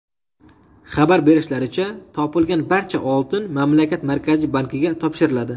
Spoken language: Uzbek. Xabar berishlaricha, topilgan barcha oltin mamlakat markaziy bankiga topshiriladi.